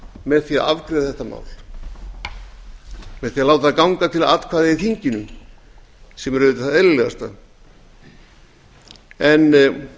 með því að afgreiða þetta mál með því að láta það ganga til atkvæða í þinginu sem er auðvitað það eðlilegasta en